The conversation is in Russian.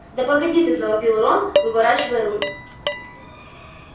да погоди ты завопил рон выворачивая руль